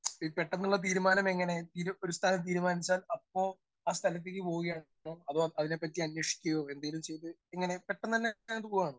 Speaker 1 ഈ പെട്ടെന്നുള്ള തീരുമാനം എങ്ങനെ? തിരു ഒരു സ്ഥലം തീരുമാനിച്ചാൽ അപ്പോ ആ സ്ഥലത്തേക്ക് പോവായിരുന്നോ? അതോ അതിനെപ്പറ്റി അന്വേഷിക്കുകയോ എന്തെങ്കിലും ചെയ്ത് ഇങ്ങനെ പെട്ടെന്നന്നെ അങ്ങട് പോവാണോ?